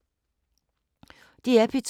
DR P2